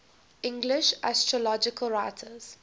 english astrological writers